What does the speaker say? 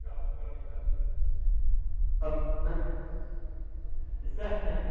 Qual era a brincadeira que vocês tinha?